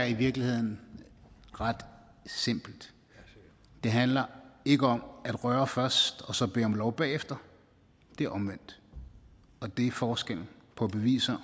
i virkeligheden er ret simpelt det handler ikke om at røre først og så bede om lov bagefter det er omvendt og det er forskellen på beviset